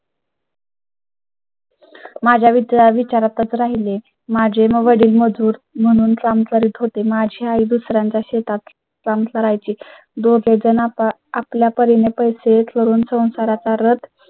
माझ्या विद्या विचारां तच राहिले. माझे वडील मजूर म्हणून काम करीत होते. माझी आई दुसऱ्यांच्या शेतात काम करायची. दोघेजण आपण आपल्या परीने पैसे करून संसारा चा रथ